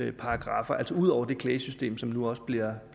er paragraffer altså ud over det klagesystem som nu også bliver